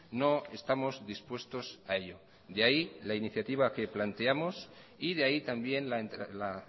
no estamos dispuestos a ello de ahí la iniciativa que planteamos y de ahí también la